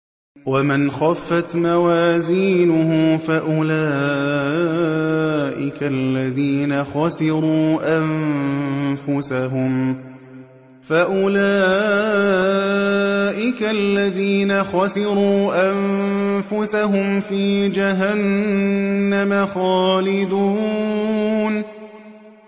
وَمَنْ خَفَّتْ مَوَازِينُهُ فَأُولَٰئِكَ الَّذِينَ خَسِرُوا أَنفُسَهُمْ فِي جَهَنَّمَ خَالِدُونَ